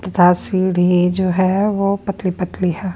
तथा सीढ़ी जो है वो पतली-पतली है।